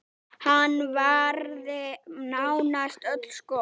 Hann varði nánast öll skot.